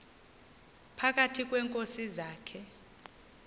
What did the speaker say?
phakathi kweenkosi zakhe